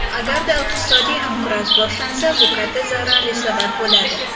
Agarda iqtisodiy inqiroz boshlansa, bu katta zararli sabab bo‘ladi.